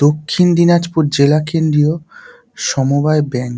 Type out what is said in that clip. দক্ষিণ দিনাজপুর জেলা কেন্দ্রীয় সমবায় ব্যাংক ।